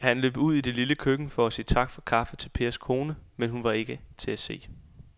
Han løb ud i det lille køkken for at sige tak for kaffe til Pers kone, men hun var ikke til at se.